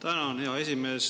Tänan, hea esimees!